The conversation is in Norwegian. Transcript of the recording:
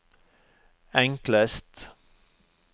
enklest